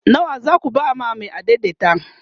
nawa zaku ba Mai adaidaita?